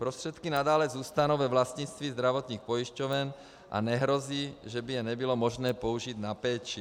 Prostředky nadále zůstanou ve vlastnictví zdravotních pojišťoven a nehrozí, že by je nebylo možné použít na péči.